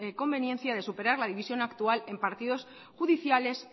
conveniencia de superar la división actual en partidos judiciales